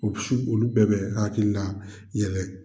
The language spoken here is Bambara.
O su olu bɛɛ bɛ hakilila yɛlɛ.